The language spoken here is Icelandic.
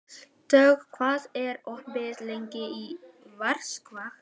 Dögg, hvað er opið lengi í Vikivaka?